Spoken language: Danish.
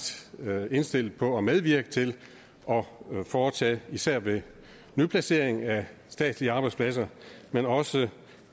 indstillet på at medvirke til at foretage det især ved nyplacering af statslige arbejdspladser men også